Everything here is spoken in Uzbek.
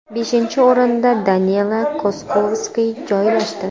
Beshinchi o‘rinda Danila Kozlovskiy joylashdi.